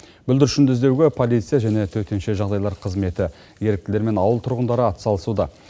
бүлдіршінді іздеуге полиция және төтенше жағдайлар қызметі еріктілер мен ауыл тұрғындары атсалысуда